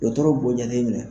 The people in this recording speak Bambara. Dɔgɔtɔrɔ b'o jateminɛ.